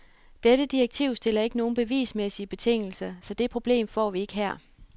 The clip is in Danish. Dette direktiv stiller ikke nogen bevismæssige betingelser, så det problem får vi ikke her.